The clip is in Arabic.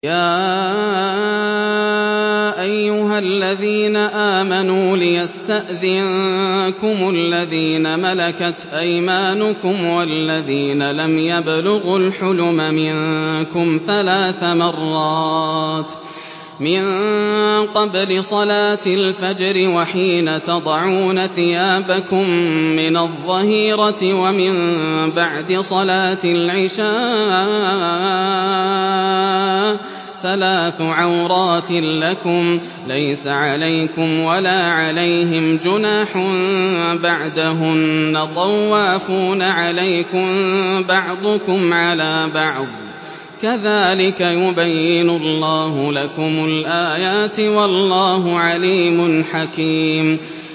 يَا أَيُّهَا الَّذِينَ آمَنُوا لِيَسْتَأْذِنكُمُ الَّذِينَ مَلَكَتْ أَيْمَانُكُمْ وَالَّذِينَ لَمْ يَبْلُغُوا الْحُلُمَ مِنكُمْ ثَلَاثَ مَرَّاتٍ ۚ مِّن قَبْلِ صَلَاةِ الْفَجْرِ وَحِينَ تَضَعُونَ ثِيَابَكُم مِّنَ الظَّهِيرَةِ وَمِن بَعْدِ صَلَاةِ الْعِشَاءِ ۚ ثَلَاثُ عَوْرَاتٍ لَّكُمْ ۚ لَيْسَ عَلَيْكُمْ وَلَا عَلَيْهِمْ جُنَاحٌ بَعْدَهُنَّ ۚ طَوَّافُونَ عَلَيْكُم بَعْضُكُمْ عَلَىٰ بَعْضٍ ۚ كَذَٰلِكَ يُبَيِّنُ اللَّهُ لَكُمُ الْآيَاتِ ۗ وَاللَّهُ عَلِيمٌ حَكِيمٌ